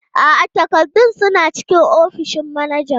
A'a, takardun suna cikin ofishin manajan.